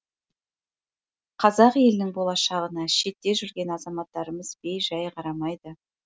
қазақ елінің болашағына шетте жүрген азаматтарымыз бей жай қарамайды